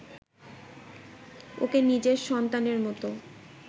ওকে নিজের সন্তানের মতো